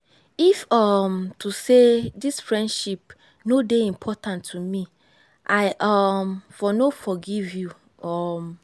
if um to sey dis friendship no dey important to me i um for no forgive you. um